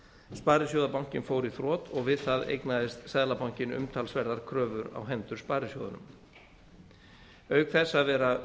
sparisjóðabankinn fór í þrot og við það eignaðist seðlabankinn umtalsverðar kröfur á hendur sparisjóðunum auk þess að vera